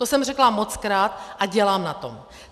To jsem řekla mockrát a dělám na tom.